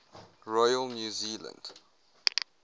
royal new zealand